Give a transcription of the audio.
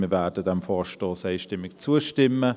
Wir werden dem Vorstoss einstimmig zustimmen.